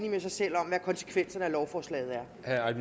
med sig selv om hvad konsekvenserne af lovforslaget